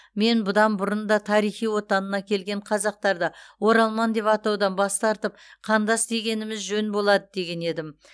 мен бұдан бұрын да тарихи отанына келген қазақтарды оралман деп атаудан бас тартып қандас дегеніміз жөн болады деген едім